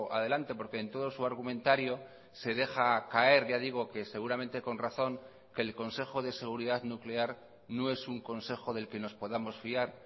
adelante porque en todo su argumentario se deja caer ya digo que seguramente con razón que el consejo de seguridad nuclear no es un consejo del que nos podamos fiar